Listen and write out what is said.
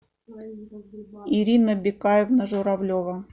ирина бекаевна журавлева